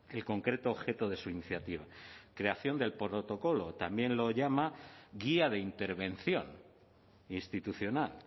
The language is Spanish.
el concreto objeto de su iniciativa creación del protocolo también lo llama guía de intervención institucional